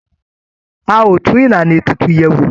A ó tún Ìlànà ètùtù yẹ̀ wò